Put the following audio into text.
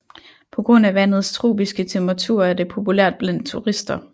På grund af vandets tropiske temperaturer er det populært blandt turister